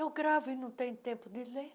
Eu gravo e não tenho tempo de ver.